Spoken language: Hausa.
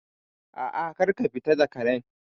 A'a, kar ka fita da Karen